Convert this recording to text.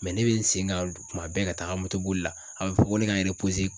ne bɛ n sen kan kuma bɛɛ ka taaga moto boli la a bɛ fɔ ko ne ka n